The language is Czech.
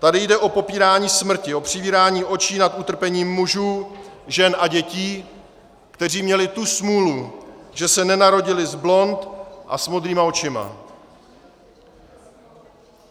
Tady jde o popírání smrti, o přivírání očí nad utrpením mužů, žen a dětí, kteří měli tu smůlu, že se nenarodili s blond vlasy a modrýma očima.